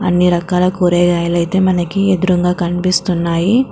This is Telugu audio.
అన్ని రకాల కూరేగాయలైతే మనకి ఎదురుంగ కనిపిస్తినున్నాయి .